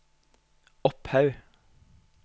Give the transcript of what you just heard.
Opphaug